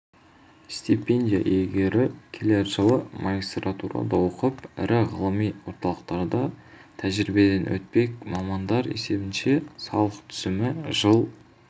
стипендия иегері келер жылы магистратурада оқып ірі ғылыми орталықтарда тәжірибеден өтпек мамандар есебінше салық түсімі жыл